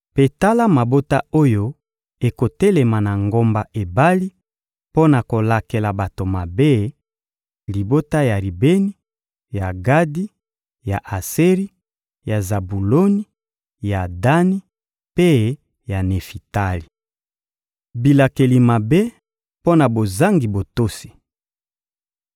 Mpe tala mabota oyo ekotelema na ngomba Ebali mpo na kolakela bato mabe: libota ya Ribeni, ya Gadi, ya Aseri, ya Zabuloni, ya Dani mpe ya Nefitali.» Bilakeli mabe mpo na bozangi botosi